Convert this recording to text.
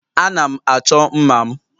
Ana m achọ mma' m.